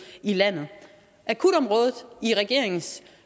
i landet akutområdet i regeringens